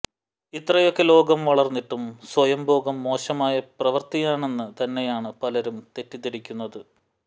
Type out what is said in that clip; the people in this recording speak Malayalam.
ഇത്രയൊക്കെ ലോകം വളര്ന്നിട്ടും സ്വയംഭോഗം മോശമായ പ്രവര്ത്തിയാണെന്ന് തന്നെയാണ് പലരും തെറ്റിദ്ധരിക്കുന്നതു